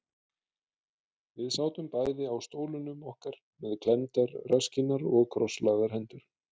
Við sátum bæði á stólunum okkar með klemmdar rasskinnar og krosslagðar hendur.